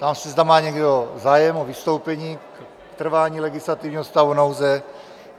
Ptám se, zda má někdo zájem o vystoupení k trvání legislativního stavu nouze.